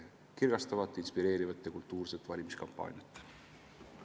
Ning kirgastavat, inspireerivat ja kultuurset valimiskampaaniat!